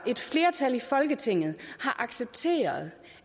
et flertal i folketinget har accepteret